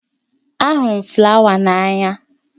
Ahụrụ m flawa n'anya